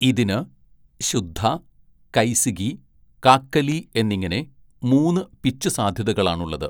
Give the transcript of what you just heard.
ഇതിന് ശുദ്ധ, കൈസികി, കാക്കലി എന്നിങ്ങനെ മൂന്ന് പിച്ച് സാധ്യതകളാണുള്ളത്.